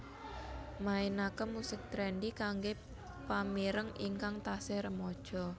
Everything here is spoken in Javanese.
mainaken musik trendy kanggé pamireng ingkang taksih remaja